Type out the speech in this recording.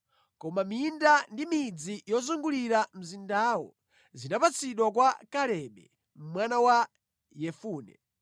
Koma minda ndi midzi yozungulira mzindawo zinapatsidwa kwa Kalebe mwana wa Yefune.